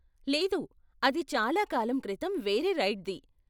లేదు, అది చాలా కాలం క్రితం వేరే రైడ్ది.